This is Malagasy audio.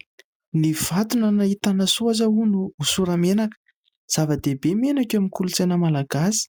« Ny vato nahitana soa aza hono hosora-menaka ». Zava-dehibe menaka eo amin'ny kolontsaina malagasy.